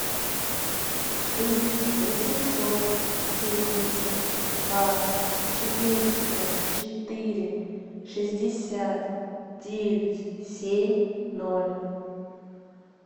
три восемьсот семьдесят два четыреста четыре шестьдесят девять семь ноль